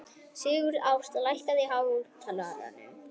Sigurásta, lækkaðu í hátalaranum.